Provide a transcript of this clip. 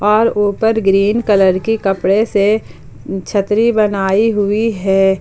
और ऊपर green colour के कपड़े से छतरी बनाई हुई है।